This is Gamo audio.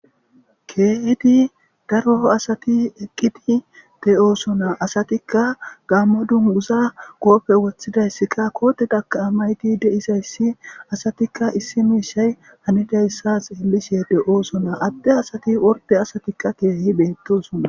Keehidi daro asati eqqidi de'osona asatikka gaamma dunguza goppe woththidayssikka koote daka amayti deisayssi asatikka issi miishay hanidayssas illishe de'oosona atte asati worde asatikka keehi beettosona